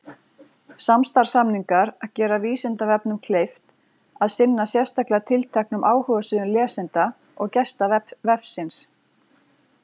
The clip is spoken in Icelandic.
samstarfssamningar gera vísindavefnum kleift að sinna sérstaklega tilteknum áhugasviðum lesenda og gesta vefsins